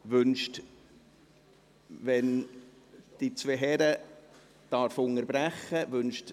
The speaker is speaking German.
Wenn ich die beiden Herren unterbrechen darf: